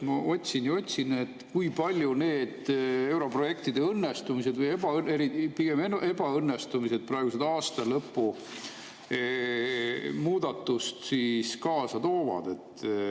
Ma otsin ja otsin, kui palju need europrojektide õnnestumised või pigem ebaõnnestumised aasta lõpus muudatusi kaasa toovad.